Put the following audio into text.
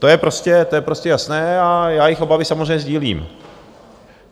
To je prostě jasné a já jejich obavy samozřejmě sdílím.